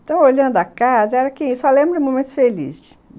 Então, olhando a casa, era que, só lembro de momentos felizes.